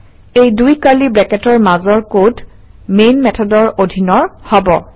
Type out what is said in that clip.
এই দুই কাৰ্লি ব্ৰেকেটৰ মাজৰ কড মেইন মেথডৰ অধীনৰ হব